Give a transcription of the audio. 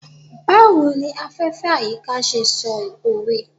Bawo ni afefe/ayika ṣe sọ owe